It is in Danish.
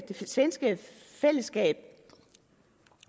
svenske fællesskab